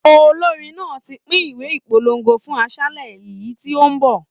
Olórin náà ti pín ìwé ìpolongo fún àṣálẹ́ ìyìn tí ó ń bọ̀.